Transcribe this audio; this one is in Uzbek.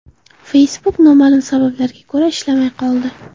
Facebook noma’lum sabablarga ko‘ra ishlamay qoldi.